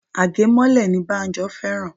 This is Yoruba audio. Agemole ni Banjo fẹ́ràn